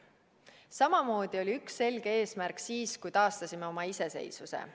Samamoodi oli üks selge eesmärk siis, kui taastasime oma iseseisvuse.